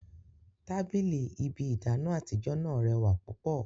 Tabili ibi idana atijọ naa rewa pupo